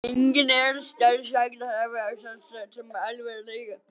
Enginn er sagður hafa slasast alvarlega